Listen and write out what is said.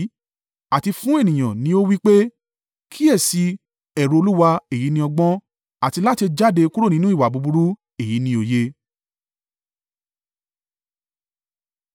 Àti fún ènìyàn ni ó wí pé, “Kíyèsi i, ẹ̀rù Olúwa èyí ni ọgbọ́n, àti láti jáde kúrò nínú ìwà búburú èyí ni òye.”